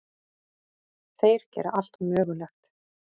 Þeir gera allt mögulegt.